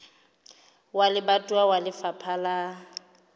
wa lebatowa wa lefapha la